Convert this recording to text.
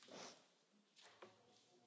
Bardzo dziękuję, Pani Poseł.